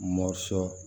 Mɔ cɔ